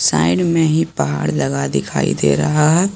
Side में ही पहाड़ लगा दिखाई दे रहा है।